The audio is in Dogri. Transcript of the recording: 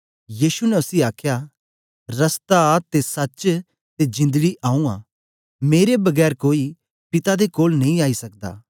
यीशु ने उसी आखया रस्ता ते सच्च ते जिंदड़ी आऊँ आं मेरे बगैर कोई पिता दे कोल नेई आई सकदा